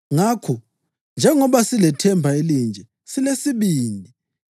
Ngakho, njengoba silethemba elinje, silesibindi.